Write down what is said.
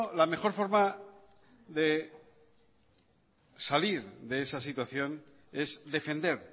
la mejor forma de salir de esa situación es defender